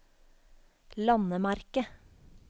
landemerke